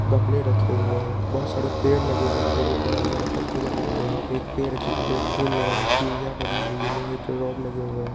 गमले रखे हुए हैं बहुत सारे पेड़ लगे हुए हैं पेड़ो पे हरे - हरे पत्ते लगे हुए हैं| एक पेड़ जिसपे फूल लगा हुआ है सीढ़िया बनी हुई है लोहे का रोड लगे हुए हैं।